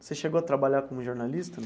Você chegou a trabalhar como jornalista?